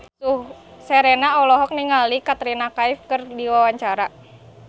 Sherina olohok ningali Katrina Kaif keur diwawancara